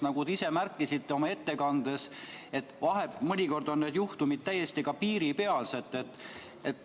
Nagu te ise märkisite oma ettekandes, mõnikord on need juhtumid täiesti piiripealsed.